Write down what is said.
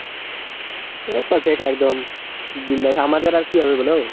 এ perfect একদম বিন্দাস আমাদের আর কি হবে বলো?